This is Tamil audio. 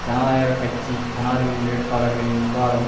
ஜனநாயக கட்சி ஜனாதிபதி வேட்பாளர்களின் விவாதம்